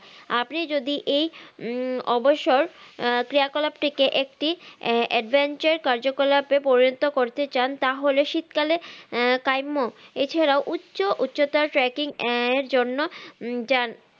আপনি যদি এই উম অবসর আহ ক্রিয়াকলাপ থেকে একটি এ advancer কার্যকলাপে পরিণত করতে চান তা হলে শীত কালে আহ কাইমো এছাড়া উচ্চ উচ্চতায় tracking এর জন্য উম যান